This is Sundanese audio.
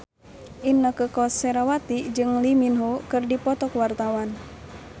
Inneke Koesherawati jeung Lee Min Ho keur dipoto ku wartawan